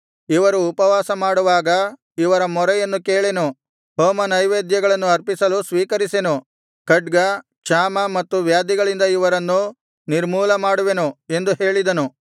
ಇವರು ಉಪವಾಸಮಾಡುವಾಗ ಇವರ ಮೊರೆಯನ್ನು ಕೇಳೆನು ಹೋಮನೈವೇದ್ಯಗಳನ್ನು ಅರ್ಪಿಸಲು ಸ್ವೀಕರಿಸೆನು ಖಡ್ಗ ಕ್ಷಾಮ ಮತ್ತು ವ್ಯಾಧಿಗಳಿಂದ ಇವರನ್ನು ನಿರ್ಮೂಲಮಾಡುವೆನು ಎಂದು ಹೇಳಿದನು